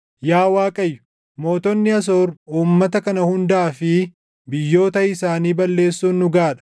“Yaa Waaqayyo, mootonni Asoor uummata kana hundaa fi biyyoota isaanii balleessuun dhugaa dha.